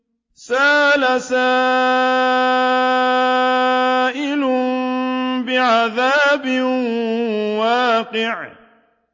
سَأَلَ سَائِلٌ بِعَذَابٍ وَاقِعٍ